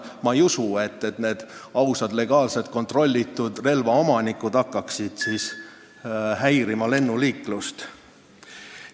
Ma ei usu, et need ausad, legaalsed, kontrollitud relvaomanikud hakkaksid lennuliiklust häirima.